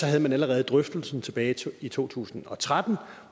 havde man allerede drøftelsen tilbage i to tusind og tretten